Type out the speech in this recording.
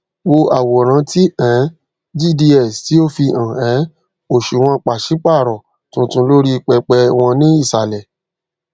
wo àwòrán ti um gds ti o fihàn um òṣùwòn pàsípàrọ tuntun lórí pẹpẹ wọn ní ìsàlẹ